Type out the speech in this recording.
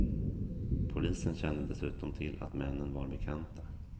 Polisen kände dessutom till att männen var bekanta.